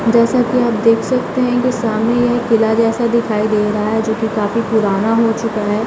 जेसा की आप देख सकते हैं की सामने यह एक किला जेसा दिखाई दे रहा हे जो की काफी पुराना हो चूका है।